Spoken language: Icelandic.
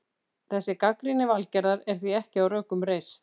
Þessi gagnrýni Valgerðar er því ekki á rökum reist.